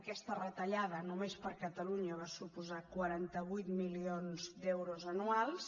aquesta retallada només per a catalunya va suposar quaranta vuit milions d’euros anuals